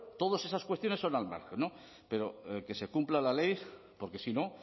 todas esas cuestiones son al margen pero que se cumpla la ley porque si no